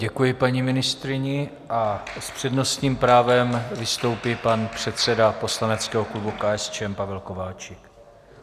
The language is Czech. Děkuji paní ministryni a s přednostním právem vystoupí pan předseda poslaneckého klubu KSČM Pavel Kováčik.